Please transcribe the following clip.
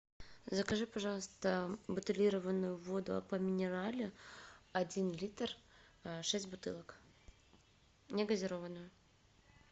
закажи пожалуйста бутилированную воду аква минерале один литр шесть бутылок негазированную